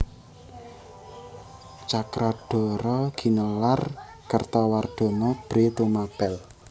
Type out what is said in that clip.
Cakradhara ginelar Kertawardhana Bhre Tumapèl